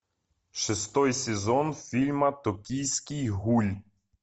шестой сезон фильма токийский гуль